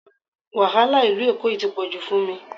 Wàhálà Ìlú Èkó yìí tí pọ̀jù fún mi